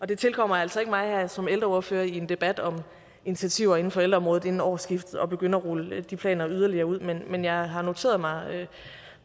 det tilkommer altså ikke mig som ældreordfører i en debat om initiativer inden for ældreområdet inden årsskiftet at begynde at rulle de planer yderligere ud men jeg har noteret mig